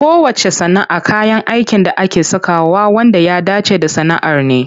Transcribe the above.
Kowacce sana'a kayan aikin da ake sakawa wanda ya dace da sana'ar ne.